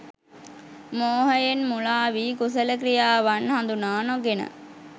මෝහයෙන් මුළාවී, කුසල ක්‍රියාවන් හඳුනා නොගෙන